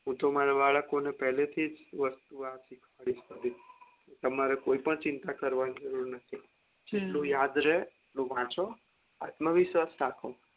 હું તો મારા બાળકોને પેલેથીજ વસ્તુ આ શીખવાદીસ તમારે કોઈ પણ ચિંતા કરવાની જરુર નથી જેટલું યાદ રે એટલું વાંચો આત્મવિશ્વાસ રાખો